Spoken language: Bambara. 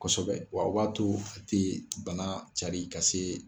Kosɛbɛ wa waato a tɛ bana cari ka se.